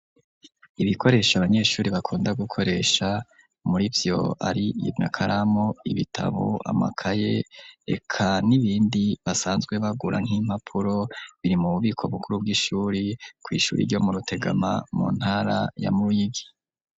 Ibikoresho abanyeshure bakunda gukoresha murivyo ari amakaramu, ibitabo, amakaye reka n'ibindi basanzwe bagura nk'impapuro, biri mu bubiko bukuru bw'ishure, kw'ishure ryo mu Rutegama, mu ntara ya Ruyigi.